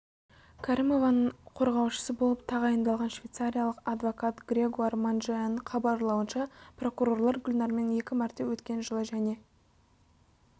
кәрімованың қорғаушысы болып тағайындалған швейцариялық адвкат грегуар манжеаның хабарлауынша прокурорлор гүлнәрмен екі мәрте өткен жылы және